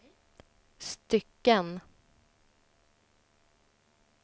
stycken